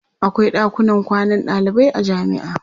akwai ɗakunan kwanan dalibai a jamia